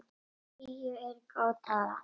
Tíu er góð tala.